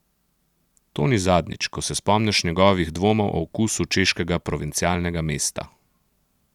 To ni zadnjič, ko se spomniš njegovih dvomov o okusu češkega provincialnega mesta.